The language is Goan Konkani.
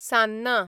सान्नां